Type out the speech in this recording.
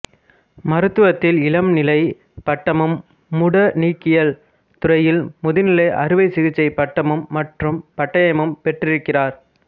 மருத்துவத்தில் இளம்நிலைப் பட்டமும் முடநீக்கியல் துறையில் முதுநிலை அறுவை சிகிச்சை பட்டம் மற்றும் பட்டயமும் பெற்றிருக்கிறார்